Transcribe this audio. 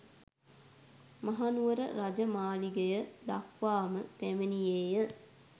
මහනුවර රජ මාලිගය දක්වා ම පැමිණියේය